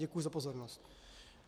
Děkuji za pozornost.